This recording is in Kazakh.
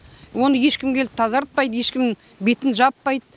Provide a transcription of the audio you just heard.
оны ешкім келіп тазартпайды ешкім бетін жаппайды